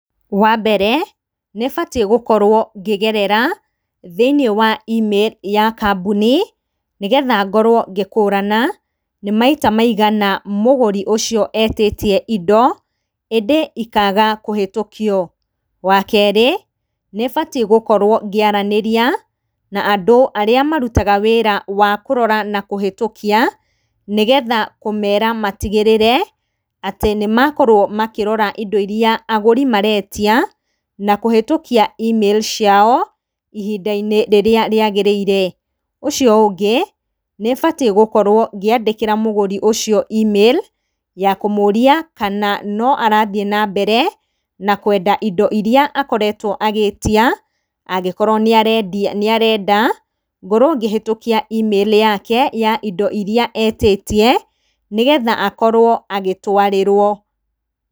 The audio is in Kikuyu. Wa mbere nĩbatiĩ gũkorwo ngĩgerera thĩiniĩ wa e-mail ya kambuni, nĩgetha ngorwo ngĩkũrana nĩ maita maigana mũgũri ũcio etĩtie indo ĩndĩ ikaga kũhĩtũkio. Wa kerĩ, nĩbatiĩ gũkorwo ngĩaranĩria na andũ arĩa marutaga wĩra wa kũrora na kũhĩtũkia, nĩgetha kũmera matigĩrĩre atĩ nĩmakorwo makĩrora indo iria agũri maretia na kũhĩtũkia e-mail ciao ihinda-inĩ rĩrĩa rĩagĩrĩire. Ũcio ũngĩ nĩbatiĩ gũkorwo ngĩandĩkĩra mũgũri ũcio e-mail ya kũmũria kana no arathiĩ na mbere na kwenda indo iria akoretwo agĩtia, angĩkorwo nĩarenda ngorwo ngĩghĩtũkia e-mail yake ya indo iria etĩtie, nĩgetha akorwo agĩtwarĩrwo.